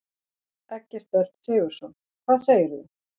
Eggert Örn Sigurðsson: Hvað segirðu?